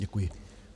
Děkuji.